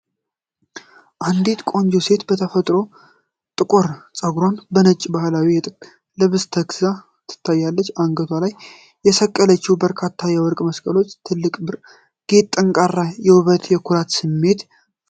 አንዲት ቆንጆ ሴት በተፈጥሯዊ ጥቁር ፀጉሯና በነጭ ባህላዊ የጥጥ ልብሷ ተክዛ ትታያለች። አንገቷ ላይ የሰቀለቻቸው በርካታ የወርቅ መስቀሎችና ትልቁ ብር ጌጥ ጠንካራ የውበትና የኩራትን ስሜት ፈጥረዋል።